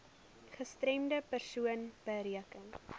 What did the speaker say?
gestremde persoon beteken